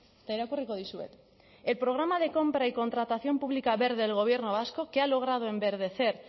eta irakurriko dizuet el programa de compra y contratación pública verde del gobierno vasco que ha logrado enverdecer